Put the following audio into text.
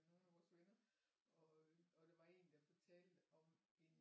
Nogen af vores venner og og der var en der fortalte om en